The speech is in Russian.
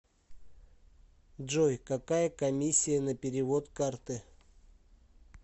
джой какая комиссия на перевод карты